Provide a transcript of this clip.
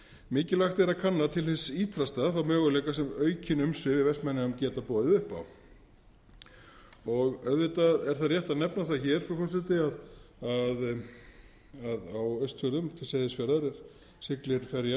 mikilvægt er að kanna til hins ýtrasta þá möguleika sem aukin umsvif í vestmannaeyjum geta boðið upp á auðvitað er það rétt að nefna það hér frú forseti að á austfjörðum til seyðisfjarðar siglir ferjan